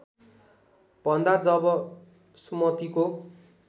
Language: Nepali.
भन्दा जब सुमतिको